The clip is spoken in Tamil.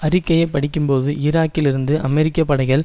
அறிக்கையை படிக்கும்போது ஈராக்கில் இருந்து அமெரிக்க படைகள்